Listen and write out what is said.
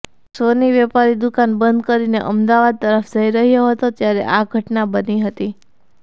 સોની વેપારી દુકાન બંધ કરીને અમદાવાદ તરફ જઇ રહ્યો હતો ત્યારે આ ઘટના બની હતી